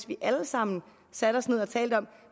vi alle sammen satte os ned og talte om